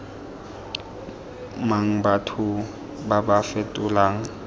mang batho ba ba fetolang